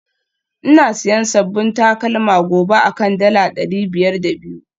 Ina siyan sabbin takalma gobe akan dala dari biyar da biyu